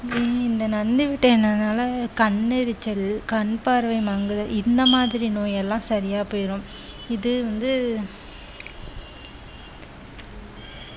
நீ இந்த நந்தி விட்டைனால கண் எரிச்சல் கண் பார்வை மங்குதல் இந்த மாதிரி நோய் எல்லாம் சரியா போயிரும் இது வந்து